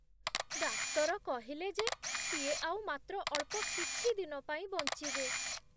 ଡାକ୍ତର କହିଲେ ଯେ ସିଏ ଆଉ ମାତ୍ର ଅଳ୍ପ କିଛି ଦିନ ପାଇଁ ବଞ୍ଚିବେ ।